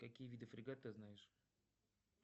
какие виды фрегат ты знаешь